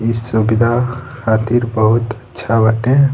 इ सुविधा खातिर बहुत अच्छा बाटे।